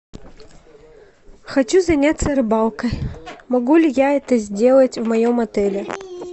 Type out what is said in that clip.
хочу заняться рыбалкой могу ли я это сделать в моем отеле